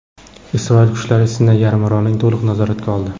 Isroil kuchlari Sinay yarimorolini to‘liq nazoratga oldi.